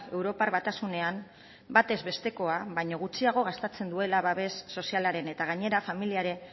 europar batasunean batezbestekoa baino gutxiago gastatzen duela babes sozialaren eta gainera familiari